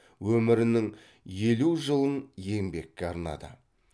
өмірінің елу жылын еңбекке арнады